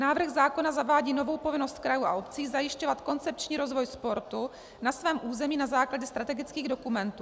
Návrh zákona zavádí novou povinnost krajů a obcí zajišťovat koncepční rozvoj sportu na svém území na základě strategických dokumentů.